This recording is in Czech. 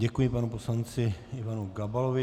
Děkuji panu poslanci Ivanu Gabalovi.